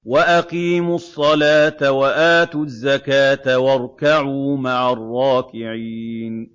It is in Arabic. وَأَقِيمُوا الصَّلَاةَ وَآتُوا الزَّكَاةَ وَارْكَعُوا مَعَ الرَّاكِعِينَ